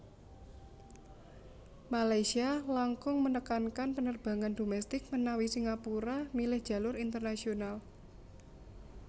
Malaysia langkung menekankan penerbangan domestik menawi Singapura milih jalur internasional